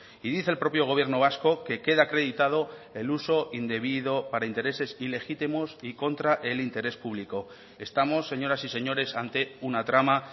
y dice el propio gobierno vasco que queda acreditado el uso indebido para intereses ilegítimos y contra el interés público estamos señoras y señores ante una trama